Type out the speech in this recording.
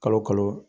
Kalo kalo